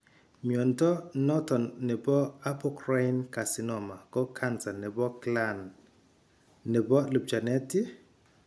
Mnyondo noton nebo Apocrine carcinoma ko cancer nebo gland nebo lupchanet iih ?